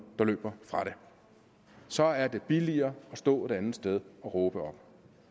der løber fra det så er det billigere at stå et andet sted og råbe op